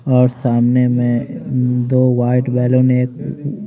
और सामने में दो व्हाइट बलून --